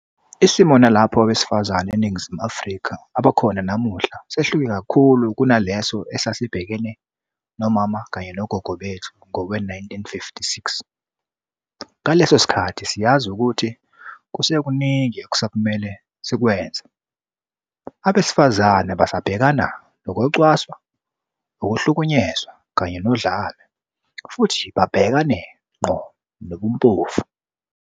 Isimo nalapho abesifazane eNi ngizimu Afrika abakhona namuhla sehluke kakhulu kunaleso esasibhekene nomama kanye nogogo bethu ngowe-1956. Ngaso leso sikhathi, siyazi ukuthi kusekuningi okusamele sikwenze. Abesifazane basabhekana nokucwaswa, ukuhlukunyezwa kanye nodlame, futhi babhekane ngqo nobumpofu.